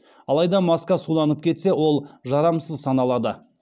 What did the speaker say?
алайда маска суланып кетсе ол жарамсыз саналады